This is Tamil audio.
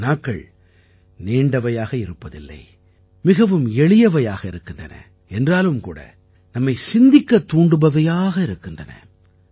இந்த வினாக்கள் நீண்டவையாக இருப்பதில்லை மிகவும் எளியவையாக இருக்கின்றன என்றாலும் கூட நம்மை சிந்திக்கத் தூண்டுபவையாக இருக்கின்றன